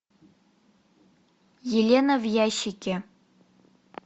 елена в ящике